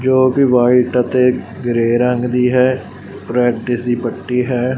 ਜੋ ਕਿ ਵਾਈਟ ਅਤੇ ਗਰੇ ਰੰਗ ਦੀ ਹੈ ਪ੍ਰੈਕਟਿਸ ਦੀ ਪੱਟੀ ਹੈ।